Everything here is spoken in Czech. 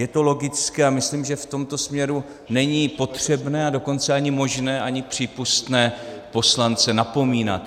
Je to logické a myslím, že v tomto směru není potřebné, a dokonce ani možné, ani přípustné poslance napomínat.